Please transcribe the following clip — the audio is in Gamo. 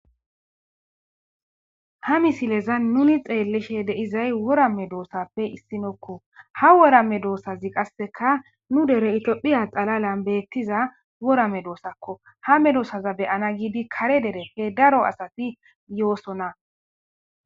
Ha misileza nuni xeellishe deyizay wora medoossappe issinokko ha wora medoossazi qasseka nu dere itiophiya xalalan beettiza wora me doosakko ha medoosaza beyana giidi kare dere he daro asati yoosona.